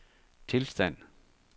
tilstand